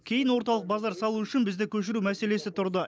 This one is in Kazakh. кейін орталық базар салу үшін бізді көшіру мәселесі тұрды